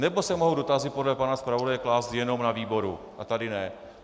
Nebo se mohou dotazy podle pana zpravodaje klást jenom na výboru a tady ne?